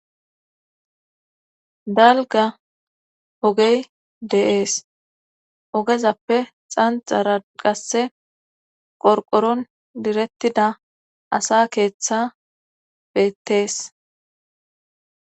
Dalga ogey de7ees ogezappe xanxara qasse qorqoron direttida asa keeththa beettees.